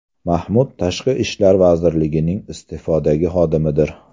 Mahmud Tashqi ishlar vazirligining iste’fodagi xodimidir.